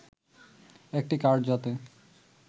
একটি কার্ড যাতে